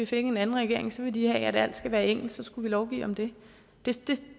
fik en anden regering så ville de have at alt skulle være engelsk så skulle vi lovgive om det